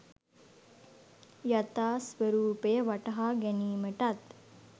යථා ස්වරූපය වටහා ගැනීමටත්